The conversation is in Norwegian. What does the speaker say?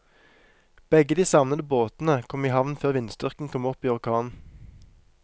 Begge de savnede båtene kom i havn før vindstyrken kom opp i orkan.